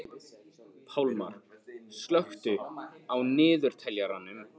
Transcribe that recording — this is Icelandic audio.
Pálmar, slökktu á niðurteljaranum.